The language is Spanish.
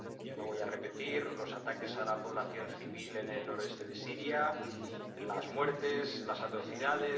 Yo no voy a repetir los ataques a la población civil en el noroeste de Siria, las muertes, las atrocidades.